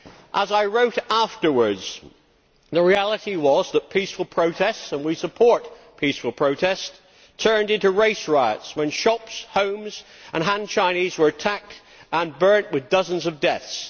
As I wrote afterwards, the reality was that peaceful protests and we support peaceful protest turned into race riots, when shops, homes and Han Chinese were attacked and burned, with dozens of deaths.